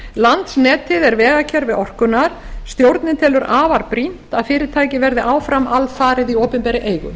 landsnetið er vegakerfi orkunnar stjórnin telur afar brýnt að fyrirtækið verði áfram alfarið í opinberri eigu